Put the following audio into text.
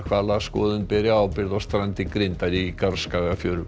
hvalaskoðun beri ábyrgð á strandi grindar í